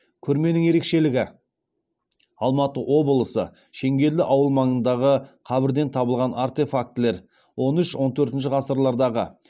көрменің ерекшелігі алматы облысы шеңгелді ауылы маңындағы қабірден табылған артефактілер он үш он төртінші ғасырлардағы